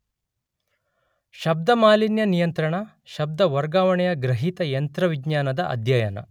ಶಬ್ದ ಮಾಲಿನ್ಯ ನಿಯಂತ್ರಣ , ಶಬ್ದ ವರ್ಗಾವಣೆಯ ಗ್ರಹೀತ ಯಂತ್ರವಿಜ್ಞಾನದ ಅಧ್ಯಯನ.